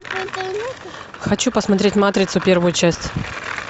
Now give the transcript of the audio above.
хочу посмотреть матрицу первую часть